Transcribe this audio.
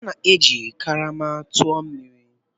A na-eji karama tụọ mmiri.